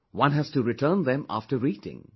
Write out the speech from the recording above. One has to return them after reading